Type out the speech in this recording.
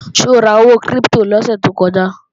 Ṣé o ra owó kírípítò lọ́sè tó kọjá?